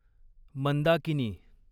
Mandakini